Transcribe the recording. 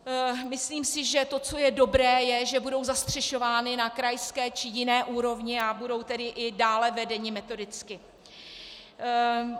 Myslím si, že to, co je dobré, je, že budou zastřešovány na krajské či jiné úrovni, a budou tedy i dále vedeny metodicky.